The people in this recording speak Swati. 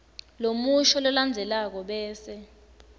lomusho lolandzelako bese